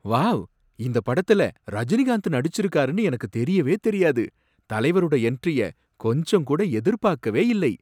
Wow! இந்தப் படத்துல ரஜினிகாந்த் நடிச்சிருக்காருனு எனக்கு தெரியவே தெரியாது. தலைவரோட என்ட்ரிய கொஞ்சம் கூட எதிர்பாக்கவே இல்லை.